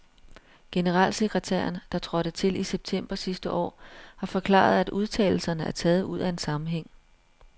Generalsekretæren, der trådte til i september sidste år, har forklaret, at udtalelserne er taget ud af en sammenhæng.